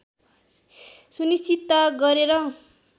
सुनिश्चितता गरेर